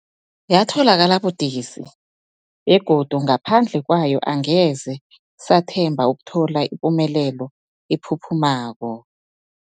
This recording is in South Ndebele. Yatholakala budisi, begodu ngaphandle kwayo angeze sathemba ukuthola ipumelelo ephuphumako.